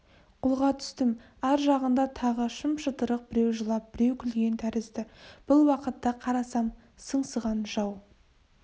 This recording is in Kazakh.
қолға түстім ар жағында тағы шым-шытырық біреу жылап біреу күлген тәрізді бұл уақытта қарасам сыңсыған жау